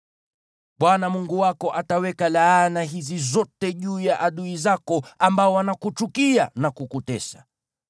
Bwana Mungu wako ataweka laana hizi zote juu ya adui zako ambao wanakuchukia na kukutesa.